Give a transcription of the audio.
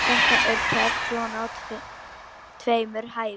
Þetta er töff svona á tveimur hæðum.